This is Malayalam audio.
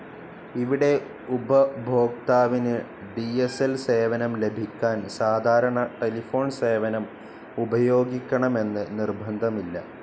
ഇവിടെ ഉപഭോക്താവിന് ഡി സ്‌ ൽ സേവനം ലഭിക്കാൻ സാധാരണ ടെലിഫോൺ സേവനം ഉപയോഗിക്കണമെന്ന് നിർബദ്ധമില്ല..